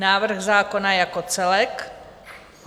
Návrh zákona jako celek.